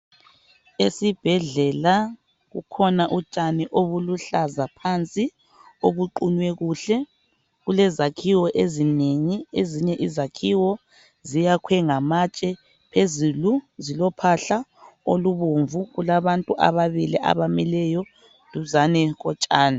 Esibhedlela kukhona utshani obuluhlaza phansi, obuqunywe kuhle. Kulezakhiwo ezinengi, ezinye izakhiwo ziyakhwe ngamatshe, phezulu zilophahla olubomvu kulabantu ababili abamileyo duzane kotshani.